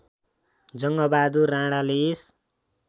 जङ्गबहादुर राणाले यस